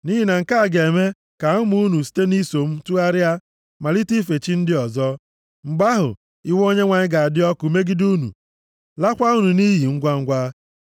Nʼihi na nke a ga-eme ka ụmụ unu site nʼiso m tụgharịa, malite ife chi ndị ọzọ. Mgbe ahụ iwe Onyenwe anyị ga-adị ọkụ megide unu, laakwa unu nʼiyi ngwangwa.